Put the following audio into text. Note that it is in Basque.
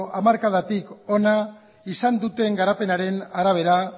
hamarkadatik hona izan duten garapenaren arabera